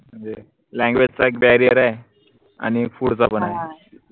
म्हनजे language चा एक barrier ए आनि food चा पन